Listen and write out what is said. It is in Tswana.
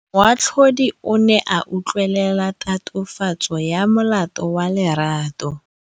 Moatlhodi o ne a utlwelela tatofatsô ya molato wa Lerato.